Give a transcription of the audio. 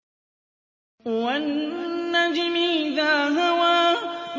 وَالنَّجْمِ إِذَا هَوَىٰ